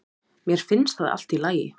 Mér finnst það allt í lagi